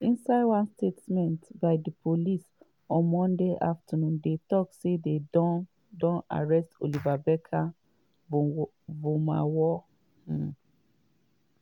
inside one statement by di police monday afternoon dey tok say dey don don arrest oliver barker-vormawor. um